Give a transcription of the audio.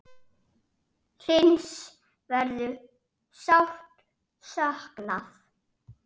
Hlyns verður sárt saknað.